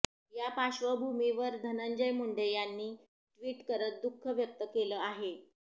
यापार्श्वभूमीवर धनंजय मुंडे यांनी ट्विट करत दुःख व्यक्त केले आहे